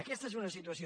aquesta és una situació